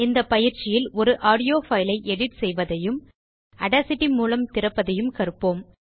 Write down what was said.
இந்தப் பயிற்சியில் ஒரு ஆடியோ fileஐ எடிட் செய்வதையும் ஆடாசிட்டி மூலம் திறப்பதும் கற்போம்